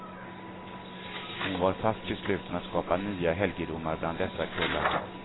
Hon var fast besluten att skapa nya helgedomar bland dessa kullar.